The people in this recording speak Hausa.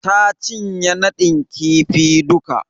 Ta cinye nadin kifi duka.